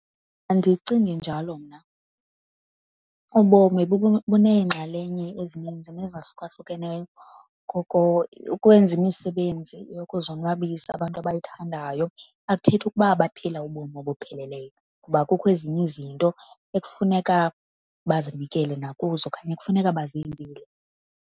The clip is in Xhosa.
Andicingi njalo mna. Ubomi buneenxalenye ezininzi nezahlukahlukeneyo, ngoko ukwenza imisebenzi yokuzonwabisa abantu abayithandayo akuthethi ukuba baphila ubomi obupheleleyo ngoba kukho ezinye izinto ekufuneka bazinikele nakuzo okanye ekufuneka bazenzile.